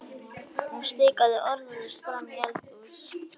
Hún stikaði orðalaust fram í eldhús.